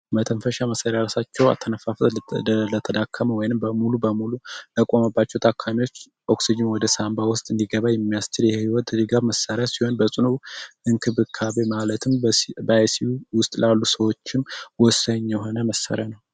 መተንፈሻ መሠሪያራሳቸው አተነፋፈት ሊተደለተዳከመ ወይንም በሙሉ በሙሉ ለቆመባቸው ታካሚዎች ኦክስጅም ወደ ሳንባ ውስጥ እንዲገባ የሚያስችር የህይወት እሊጋብ መሰሪያ ሲሆን በጽኑ እንክ ብካቤ ማለትም በይስዩ ውስጥ ላሉ ሰዎችም ወሰኝ የሆነ መሰሪያ ነው፡፡